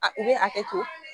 A u bɛ hakɛ to